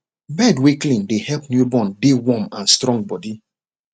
bed wer clean dey help newborn dey warm and strong body